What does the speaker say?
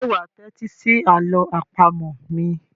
Ṣé wà á tẹ́tí sí àlọ́ àpamọ̀ mi?